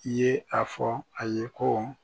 I ye a fɔ a ye kɔ